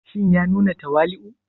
Shin ya nuna tawali'u?